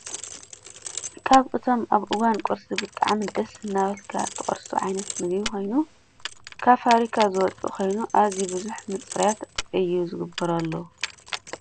ካብ እቶም እበ እዋን ቁርሲ ብጣዐሚ ደስ እናበለካ እትቆርሶ ዓይነት ምግቢ ኮይኑ ካብ ፋበሪካ ዝወፅእ ኮይኑ ኣዝዩ ብዙሕ ምፅራይት እዩ ዝግበረሉ።